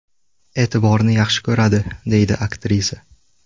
E’tiborni yaxshi ko‘radi”, deydi aktrisa.